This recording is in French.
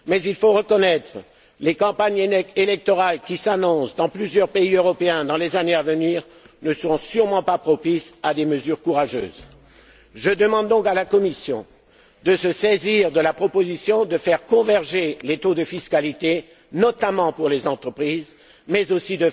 euro. Mais il faut reconnaître que les campagnes électorales qui s'annoncent dans plusieurs pays européens, dans les années à venir, ne seront sûrement pas propices à des mesures courageuses. Je demande donc à la Commission de se saisir de la proposition de faire converger les taux de fiscalité, notamment pour les entreprises, mais